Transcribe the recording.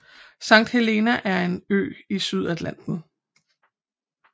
Sankt Helena er en ø i Sydatlanten